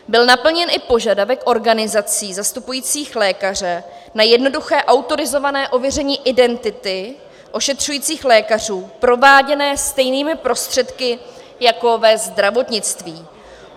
Byl naplněn i požadavek organizací zastupujících lékaře na jednoduché autorizované ověření identity ošetřujících lékařů, prováděné stejnými prostředky jako ve zdravotnictví.